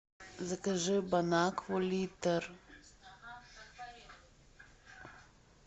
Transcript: закажи бонакву литр